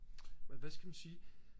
men hvad skal man sige